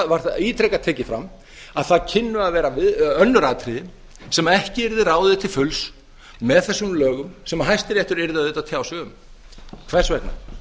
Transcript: var það ítrekað tekið fram að það kynnu að vera önnur atriði sem ekki yrði ráðið til fulls með þessum lögum sem hæstiréttur yrði auðvitað að tjá sig um hvers vegna